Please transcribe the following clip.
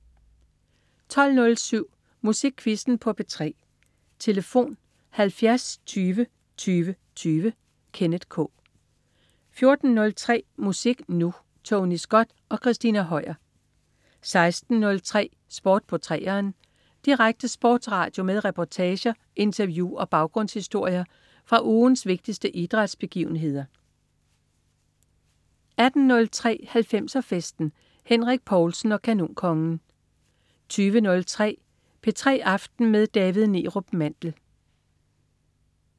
12.07 Musikquizzen på P3. Tlf.: 70 20 20 20. Kenneth K 14.03 Musik Nu! Tony Scott og Christina Høier 16.03 Sport på 3'eren. Direkte sportsradio med reportager, interview og baggrundshistorier fra ugens vigtigste idrætsbegivenheder 18.03 90'er Festen. Henrik Povlsen og Kanonkongen 20.03 P3 aften med David Neerup Mandel